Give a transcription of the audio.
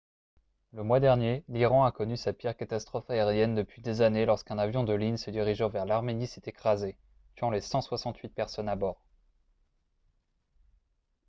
le mois dernier l'iran a connu sa pire catastrophe aérienne depuis des années lorsqu'un avion de ligne se dirigeant vers l'arménie s'est écrasé tuant les 168 personnes à bord